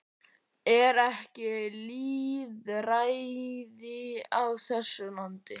Er ekki lýðræði á þessu landi?